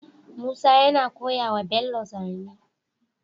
Musa yana koya wa bello zane